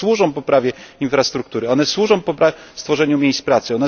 One służą poprawie infrastruktury, one służą tworzeniu miejsc pracy.